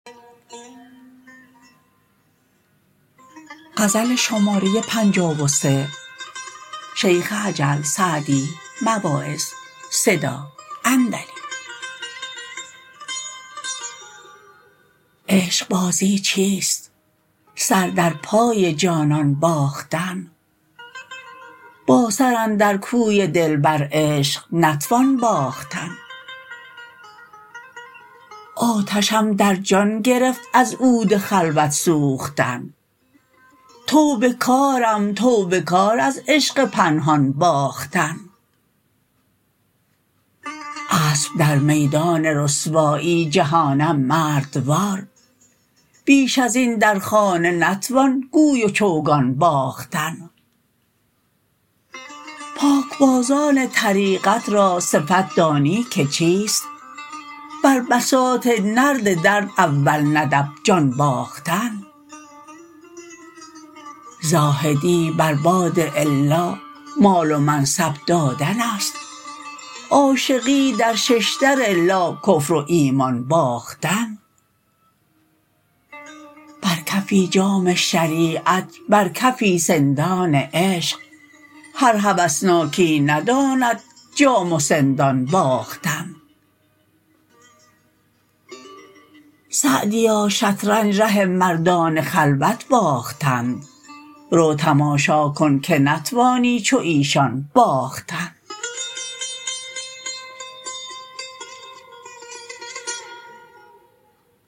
عشقبازی چیست سر در پای جانان باختن با سر اندر کوی دلبر عشق نتوان باختن آتشم در جان گرفت از عود خلوت سوختن توبه کارم توبه کار از عشق پنهان باختن اسب در میدان رسوایی جهانم مردوار بیش از این در خانه نتوان گوی و چوگان باختن پاکبازان طریقت را صفت دانی که چیست بر بساط نرد درد اول ندب جان باختن زاهدی بر باد الا مال و منصب دادن است عاشقی در ششدر لا کفر و ایمان باختن بر کفی جام شریعت بر کفی سندان عشق هر هوسناکی نداند جام و سندان باختن سعدیا شطرنج ره مردان خلوت باختند رو تماشا کن که نتوانی چو ایشان باختن